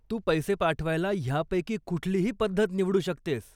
तू पैसे पाठवायला ह्यापैकी कुठलीही पद्धत निवडू शकतेस.